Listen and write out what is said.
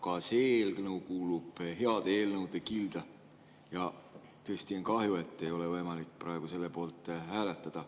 Ka see eelnõu kuulub heade eelnõude kilda ja tõesti on kahju, et ei ole võimalik praegu selle poolt hääletada.